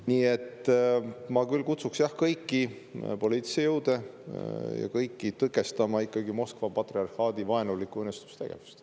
Nii et ma küll kutsuks, jah, kõiki poliitilisi jõude ja üldse kõiki tõkestama ikkagi Moskva patriarhaadi vaenulikku õõnestustegevust.